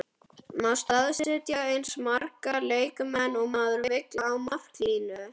Má staðsetja eins marga leikmenn og maður vill á marklínu?